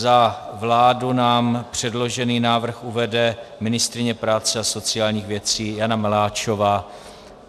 Za vládu nám předložený návrh uvede ministryně práce a sociálních věcí Jana Maláčová.